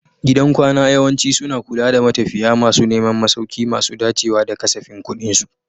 Gidan kwana yawanci suna kula da matafiya masu neman masauki masu dacewa da kasafin kuɗinsu.